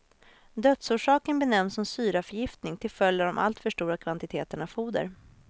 Dödsorsaken benämns som syraförgiftning, till följd av de allt för stora kvantiteterna foder.